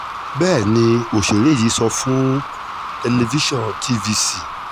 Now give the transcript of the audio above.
bẹ́ẹ̀ ni òṣèré yìí sọ fún tẹlifíṣàn tvc